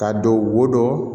Ka don wo